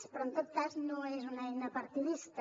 però en tot cas no és una eina partidista